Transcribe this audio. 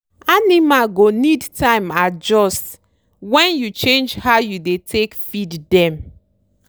animal go need time adjust when you change how you dey take feed dem.